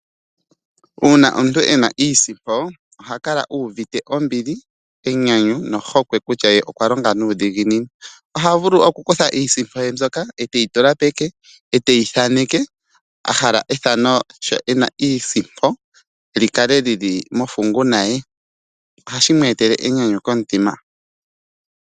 Uuna omuntu e na iisimpo oha kala uuvite ombili, enyanyu ohokwe kutya ye okwa longa nuudhiginini noha vulu okukutha iisimpo ye mbyoka eteyi tula peke nokuyithaneka ahala ethano sho e na iisimpo likale lili mofunguna ye oshoka ohashi mweetele enyanyu komutima.